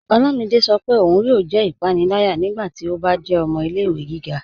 Ọlámídé sọ́ pé óun yóò jẹ́ ipànìlàyà nígbàtí ó bá jẹ́ ọmọ ilẹ̀-ìwẹ̀ gíga